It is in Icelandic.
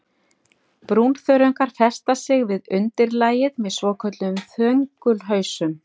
Brúnþörungar festa sig við undirlagið með svokölluðum þöngulhausum.